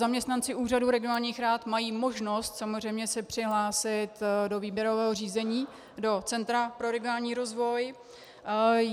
Zaměstnanci Úřadu regionálních rad mají možnost samozřejmě se přihlásit do výběrového řízení do Centra pro regionální rozvoj.